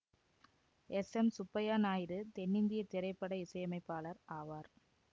S M Subbaiah Naidu தென்னிந்தியத் திரைப்பட இசையமைப்பாளர் ஆவார்